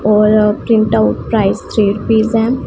और print out price three rupees है।